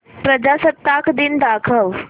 प्रजासत्ताक दिन दाखव